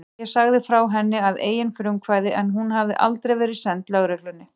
Ég sagði frá henni að eigin frumkvæði en hún hafði aldrei verið send lögreglunni.